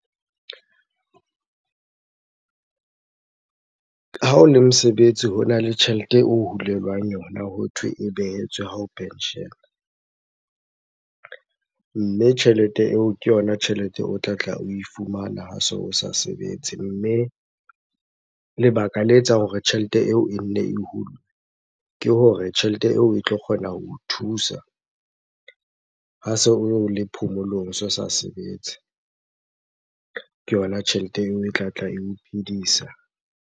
Ha mosebetsi hona le tjhelete o hulelwang yona hothwe e behetswe hao penshela. Mme tjhelete eo ke yona tjhelete o tlatla oe fumana ha se o sa sebetse. Mme lebaka le etsang hore tjhelete eo e nne e hulwe, ke hore tjhelete eo e tlo kgona ho o thusa ha se o le phomolong, o se o sa sebetse. Ke yona tjhelete eo e tlatla eo phidisa.